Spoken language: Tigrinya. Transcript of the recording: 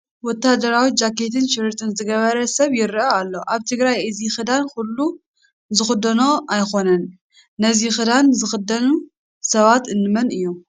ወታደራዊ ጃኼትን ሸርጥን ዝገበረ ሰብ ይርአ ኣሎ፡፡ ኣብ ትግራይ እዚ ክዳን ኩሉ ዝኽደኖ ኣይኮነን፡፡ ነዚ ክዳን ዝኽደኑ ሰባት እንመን እዮም?